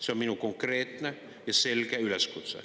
See on minu konkreetne ja selge üleskutse.